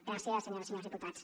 gràcies senyores i senyors diputats